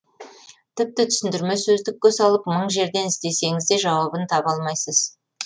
тіпті түсіндірме сөздікке салып мың жерден іздесеңіз де жауабын таба алмайсыз